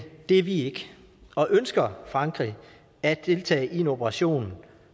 det er vi ikke og ønsker frankrig at deltage i en operation